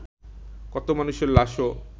কত মানুষের লাশও